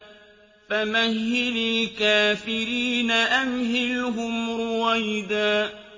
فَمَهِّلِ الْكَافِرِينَ أَمْهِلْهُمْ رُوَيْدًا